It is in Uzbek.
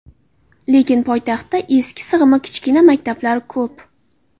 Lekin poytaxtda eski, sig‘imi kichkina maktablar hali ko‘p.